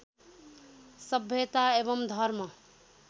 सभ्यता एवं धर्म